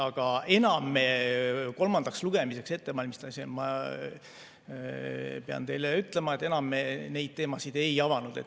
Aga kolmandaks lugemiseks ettevalmistamisel, pean teile ütlema, me enam neid teemasid ei avanud.